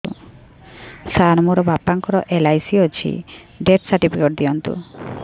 ସାର ମୋର ବାପା ଙ୍କର ଏଲ.ଆଇ.ସି ଅଛି ଡେଥ ସର୍ଟିଫିକେଟ ଦିଅନ୍ତୁ